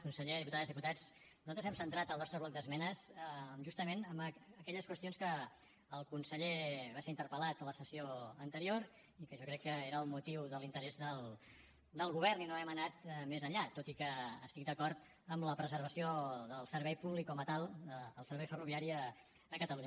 conseller diputades i diputats nosaltres hem centrat el nostre bloc d’esmenes justament en aquelles qüestions sobre les quals el conseller va ser interpel·lat en la sessió anterior i que jo crec que era el motiu de l’interès del govern i no hem anat més enllà tot i que estic d’acord amb la preservació del servei públic com a tal del servei ferroviari a catalunya